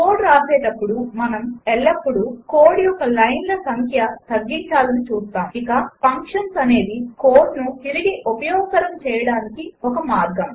code వ్రాసేపుడు మనం ఎల్లప్పుడు కోడ్ యొక్క లైన్ల్స్ సంఖ్య తగ్గించాలని చూస్తాము ఇక ఫంక్షన్స్ అనేది కోడ్ను తిరిగి ఉపయోగకరం చేయడానికి ఒక మార్గం